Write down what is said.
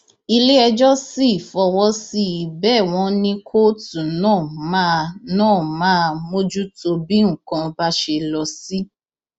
iléẹjọ sì fọwọ sí i bẹẹ wọn ní kóòtù náà máa náà máa mójútó bí nǹkan bá ṣe lọ sí